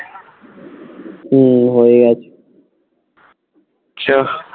হম হয়ে গেছে চ